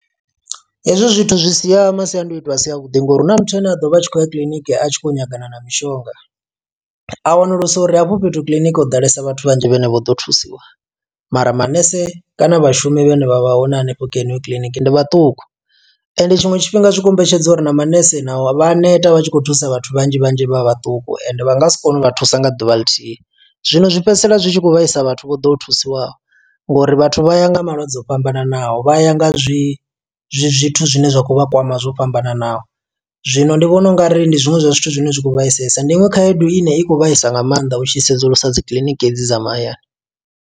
Hezwi zwithu zwi sia masiandoitwa a si a vhuḓi ngo uri hu na muthu ane a ḓo vha a tshi khou ya kiḽiniki, a tshi khou nyagana na mishonga. A wanulusa uri hafho fhethu kiḽiniki ho ḓalesa vhathu vhanzhi vhane vho ḓo thusiwa, mara manese kana vhashumi vhane vha vha hone hanefho kha yeneyo kiḽiniki, ndi vhaṱuku. Ende tshiṅwe tshifhinga zwi kombetshedza uri na manese navho vha a neta vha tshi khou thusa vhathu vhanzhi vhanzhi vha vhaṱuku, ende vha nga si kone u vha thusa nga ḓuvha ḽithihi. Zwino zwi fhedzisela zwi tshi khou vhaisa vhathu vho ḓo thusiwaho, ngo uri vhathu vha ya nga malwadze o fhambananaho. Vha ya nga zwi zwithu zwine zwa khou vha kwama zwo fhambananaho, zwino ndi vhona ungari ndi zwiṅwe zwa zwithu zwine zwa kho vhaisalesa. Ndi iṅwe khaedu ine i khou vhaisa nga maanḓa u tshi sedzulusa dzikiḽiniki edzi dza mahayani.